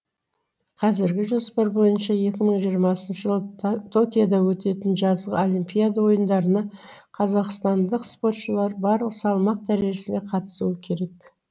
қазіргі жоспар бойынша екі мың жиырмасыншы жылы токиода өтетін жазғы олимпиада ойындарына қазақстандық спортшылар барлық салмақ дәрежесінде қатысуы керек